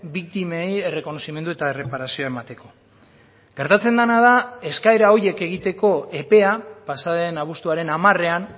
biktimei errekonozimendu eta erreparazioa emateko gertatzen dena da eskaera horiek egiteko epea pasa den abuztuaren hamarean